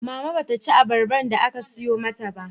Mama ba ta ci abarban da aka sayo mata ba